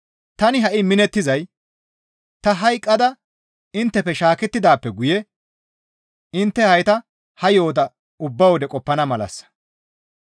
Tani ha7i minettizay ta hayqqada inttefe shaakettidaappe guye intte hayta ha yo7ota ubba wode qoppana malassa.